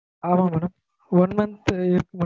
ஆமாங் madam one month தூ இருக்கும்